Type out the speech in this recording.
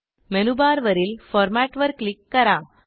मेनूबारवरील फॉर्मॅट वर क्लिक करा